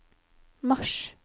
mars